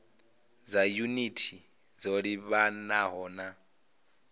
dza yunithi dzo livhanaho na